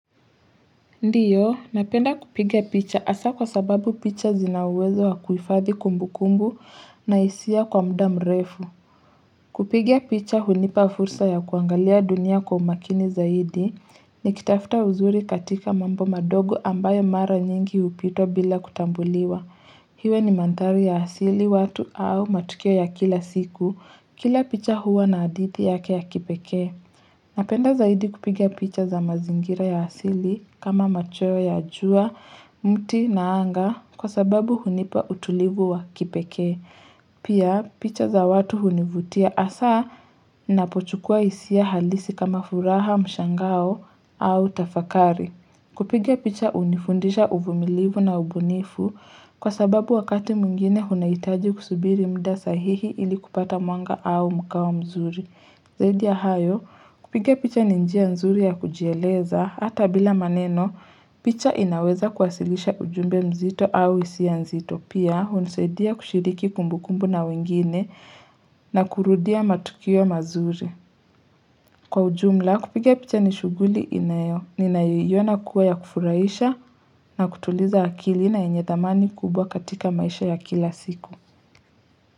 Ndiyo, napenda kupiga picha asa kwa sababu picha zina uwezo wa kuifadhi kumbukumbu na hisia kwa mda mrefu. Kupiga picha hunipa fursa ya kuangalia dunia kwa makini zaidi nikitafta uzuri katika mambo madogo ambayo mara nyingi hupitwa bila kutambuliwa. Hiwe ni manthari ya asili watu au matukio ya kila siku kila picha huwa na hadithi yake ya kipekee. Napenda zaidi kupiga picha za mazingira ya asili kama machweo ya jua, mti na anga kwa sababu hunipa utulivu wa kipeke. Pia picha za watu hunivutia asa napochukua hisia halisi kama furaha mshangao au tafakari. Kupiga picha unifundisha uvumilivu na ubunifu kwa sababu wakati mwingine hunaitaji kusubiri mda sahihi ili kupata mwanga au mkao mzuri. Zaidi ya hayo, kupiga picha ni njia nzuri ya kujieleza, hata bila maneno, picha inaweza kuwasilisha ujumbe mzito au isia nzito, pia hunisaidia kushiriki kumbukumbu na wengine na kurudia matukio mazuri. Kwa ujumla, kupiga picha ni shuguli inayo, ninayoiona kuwa ya kufuraisha na kutuliza akili na yenye dhamani kubwa katika maisha ya kila siku.